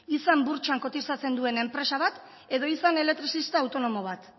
izan burtsan kotizatzen duen enpresa bat edo izan elektrizista autonomo bat